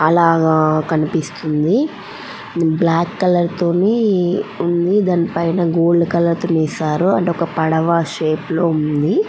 అలాగా కనిపిస్తుంది black colour తోని ఉంది. దాని పైన గోల్డ్ కలర్ వేశారు. అండ్ అది ఒక పడవ షేపు లో ఉంది.